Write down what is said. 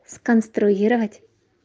сконструировать